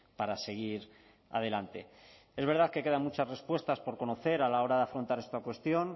para seguir adelante es verdad que quedan muchas respuestas por conocer a la hora de afrontar esta cuestión